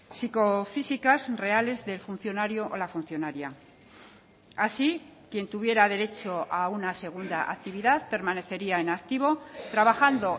psicofísicas reales del funcionario o la funcionaria así quien tuviera derecho a una segunda actividad permanecería en activo trabajando